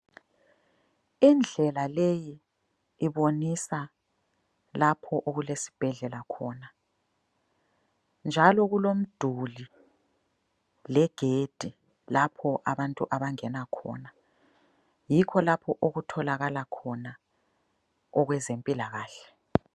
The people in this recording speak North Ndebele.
Indlela leyi ibonisa lapho okulesibhedlela khona, njalo kulomduli legedi lapho abantu abangena khona, yikho lapho okutholakala khona okwezempilakahle.